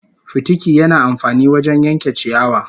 Fitiki yana amfani wajen yanke ciyawa